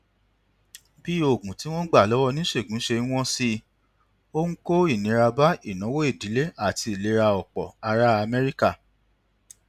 bí oògùn tí wọn ń gbà lọwọ oníṣègùn ṣe ń wọn sí ó ń kó ìnira bá ìnáwó ìdílé àti ìlera ọpọ ará amẹríkà